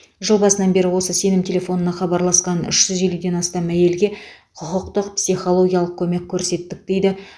жыл басынан бері осы сенім телефонына хабарласқан үш жүз елуден астам әйелге құқықтық психологиялық көмек көрсеттік дейді